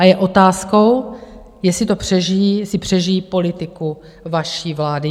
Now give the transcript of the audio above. A je otázkou, jestli to přežijí, jestli přežijí politiku vaší vlády.